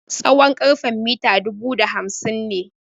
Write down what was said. Tsawon karfen mita dubu da hamsin ne.